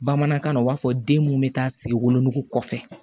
Bamanankan na u b'a fɔ den mun be taa sigi wolonugu kɔfɛ